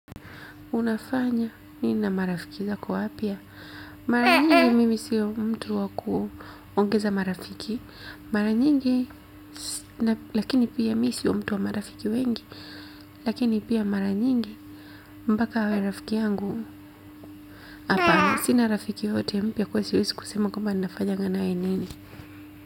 Unafanya nini na marafiki zako wapya. Mara nyingi mimi siyo mtu wa kuongeza marafiki. Mara nyingi lakini pia mi siyo mtu wa marafiki wengi. Lakini pia mara nyingi mpaka awe rafiki yangu. Hapana sina rafiki yeyote mpya kwa hiyo siezi kusema kwamba ninafanyanga nae nini.